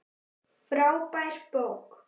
Frábær bók.